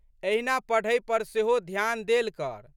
एहिना पढ़ै पर सेहो ध्यान देल कर।